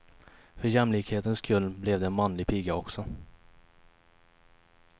För jämlikhetens skull blev det en manlig piga också.